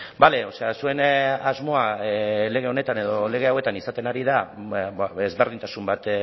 bale o sea zuen asmoa lege honetan edo lege hauetan izaten ari da desberdintasun bat